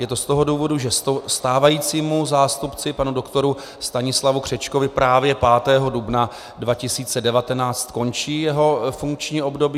Je to z toho důvodu, že stávajícímu zástupci panu doktoru Stanislavu Křečkovi právě 5. dubna 2019 skončí jeho funkční období.